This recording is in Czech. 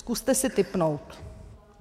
Zkuste si tipnout.